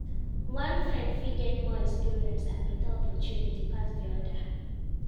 One friend fit get more experience and better opportunities pass di other